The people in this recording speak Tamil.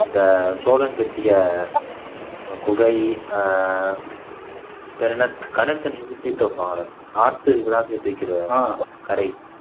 இந்த சோழன் கட்டிய குகை ஆஹ் பேர் என்ன கடல் தண்ணி எல்லாம் சேர்த்து வைப்பாங்கல்ல ஆத்து இதெல்லாம் சேர்த்து வைக்கிறது கரை